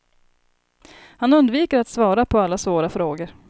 Han undviker att svara på alla svåra frågor.